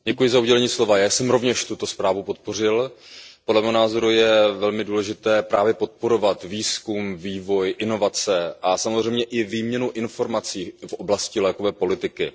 Pane předsedající, já jsem rovněž tuto zprávu podpořil. Podle mého názoru je velmi důležité právě podporovat výzkum, vývoj, inovace a samozřejmě i výměnu informací v oblasti lékové politiky.